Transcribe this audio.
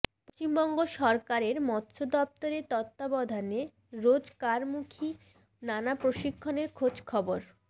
পশ্চিমবঙ্গ সরকারের মৎস দপ্তরের তত্বাবধানে রোজগারমুখি নানা প্রশিক্ষণের খোঁজ খবর